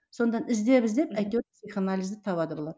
сонан іздеп іздеп әйтеуір психоанализді табады бұлар